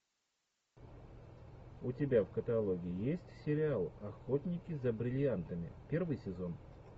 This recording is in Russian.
у тебя в каталоге есть сериал охотники за бриллиантами первый сезон